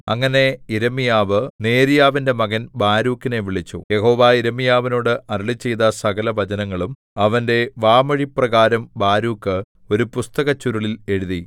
അങ്ങനെ യിരെമ്യാവ് നേര്യാവിന്റെ മകൻ ബാരൂക്കിനെ വിളിച്ചു യഹോവ യിരെമ്യാവിനോട് അരുളിച്ചെയ്ത സകലവചനങ്ങളും അവന്റെ വാമൊഴിപ്രകാരം ബാരൂക്ക് ഒരു പുസ്തകച്ചുരുളിൽ എഴുതി